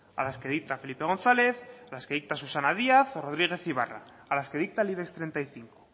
a las que dicta felipe gonzález a las que dicta susana díaz o rodríguez ibarra a las que dicta el ibex treinta y cinco